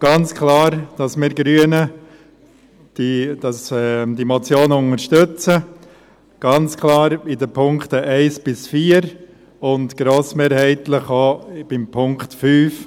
Ganz klar, dass wir Grünen die Motion unterstützen, ganz klar in den Punkten 1–4 und grossmehrheitlich auch in Punkt 5.